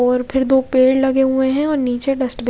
और ऊपर दो पेड़ लगे हुए है और निचे डस्टबिन --